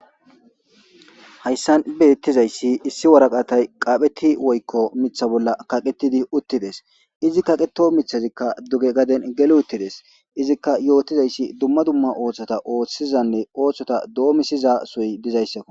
Hayssan beettizay issi waraqatay qaaphphetidi woykko miththa bolla kaqetidi uttides. Izi kaqeto miththazikka duge gaden geli uttides. Izikka yootizayssi dumma dumma ooththota ooththizayssanne ooththota doomisizasohoy dizayssakko.